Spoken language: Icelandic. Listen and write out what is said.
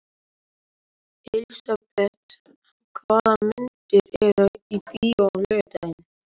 Elisabeth, hvaða myndir eru í bíó á laugardaginn?